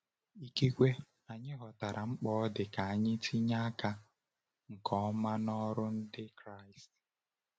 Ikekwe anyị ghọtara mkpa ọ dị ka anyị tinye aka nke ọma n’ọrụ Ndị Kraịst.